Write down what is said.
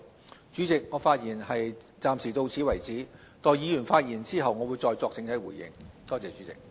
代理主席，我暫發言至此，待議員發言後，會再作整體回應，多謝代理主席。